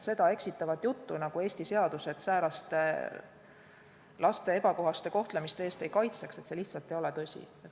See jutt, nagu Eesti seadused lapsi säärase ebakohase kohtlemise eest ei kaitseks, lihtsalt ei ole tõsi.